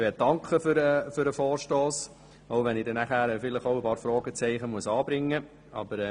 Ich möchte für diesen Vorstoss danken, selbst wenn ich nachher ein paar Fragezeichen anbringen muss.